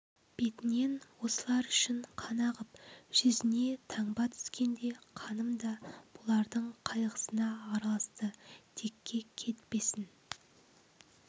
бетінен осылар үшін қан ағып жүзіне таңба түскенде қаным да бұлардың қайғысына араласты текке кетпесін